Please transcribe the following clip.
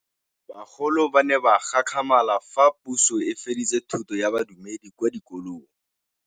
Bagolo ba ne ba gakgamala fa Pusô e fedisa thutô ya Bodumedi kwa dikolong.